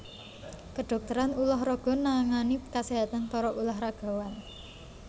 Kedhokteran ulah raga nangani kaséhatan para ulah ragawan